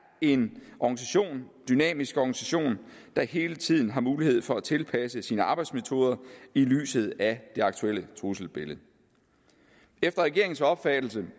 en dynamisk organisation der hele tiden har mulighed for at tilpasse sine arbejdsmetoder i lyset af det aktuelle trusselsbillede efter regeringens opfattelse